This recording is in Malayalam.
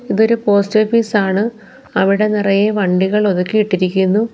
ഇതൊരു പോസ്റ്റ് ഓഫീസ് ആണ് അവിടെ നിറയെ വണ്ടികൾ ഒതുക്കി ഇട്ടിരിക്കുന്നു.